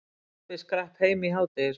Pabbi skrapp heim í hádegismat.